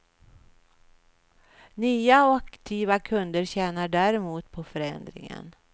Nya och aktiva kunder tjänar däremot på förändringen.